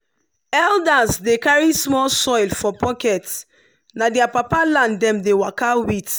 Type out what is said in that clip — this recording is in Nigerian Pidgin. elders dey carry small soil for pocket na their papa land dem dey waka with.